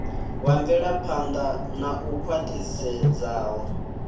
wa mvelaphan ḓa u khwaṱhisedzaho